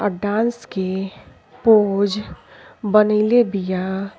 अ dance के pose बनइले बिया।